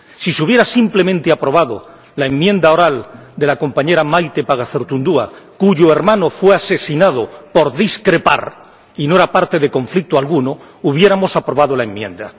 Si simplemente se hubiera aprobado la enmienda oral de la compañera Maite Pagazaurtundúa, cuyo hermano fue asesinado por discrepar —y no era parte de conflicto alguno— hubiéramos aprobado la enmienda.